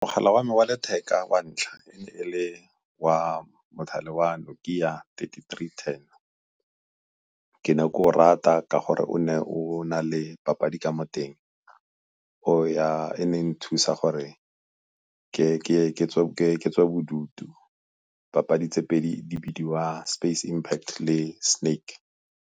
Mogala wa me wa letheka wa ntlha e ne le wa mothale wa Nokia thirty-three ten. Ke ne ke o rata ka gore o ne o na le papadi ka mo teng e neng e nthusa gore ke tswa bodutu papadi tse pedi di bidiwa Space Impact le Snake.